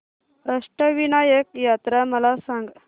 अष्टविनायक यात्रा मला सांग